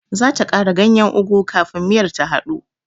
Zata kara ganyen ugu kafin miyar ta hadu.